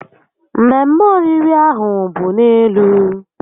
Mmemme oriri ahụ bụ n'elu